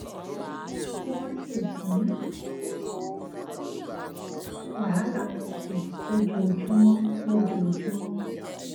kí wón sì dín wàhálà wọn kù lójoojúmọ lójoojúmọ